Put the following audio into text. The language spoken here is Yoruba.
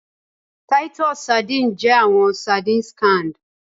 Titus sardines jẹ awọn sardines canned